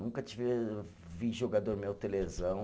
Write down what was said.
Nunca tive, vi jogador meu ter lesão.